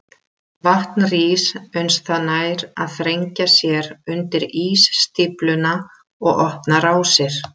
Vatn rís uns það nær að þrengja sér undir ísstífluna og opna rásir.